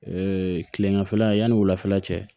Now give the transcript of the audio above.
kileganfɛla yanni wulafɛla cɛ